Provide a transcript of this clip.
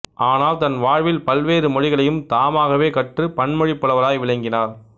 ஆனால் தன் வாழ்வில் பல்வேறு மொழிகளையும் தாமாகவே கற்று பன்மொழிப் புலவராய் விளங்கினார்